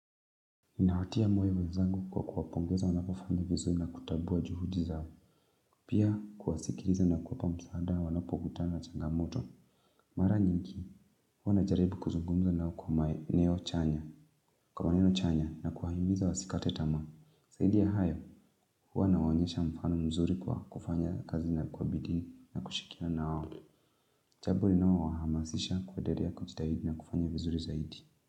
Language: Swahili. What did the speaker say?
Ninawatia moyo wenzangu kwa kuwapongeza wanavyofanya vizuri na kutambua juhudi zao. Pia kuwasikiliza na kuwapa msaada wanapokuta na changamoto. Mara nyingi, huwa najaribu kuzungumza nao kwa maeno chanya. Kwa maneno chanya na kuwahimiza wasikate tamaa. Zaidi ya hayo, huwa ninawaonyesha mfano mzuri kwa kufanya kazi na kwa bidii na kushikiliana nao. Jambo linalowahamasisha kuendelea kujitahidi na kufanya vizuri zaidi.